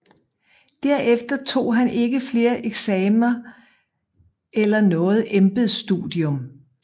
Derefter tog han ikke flere eksamener eller noget embedsstudium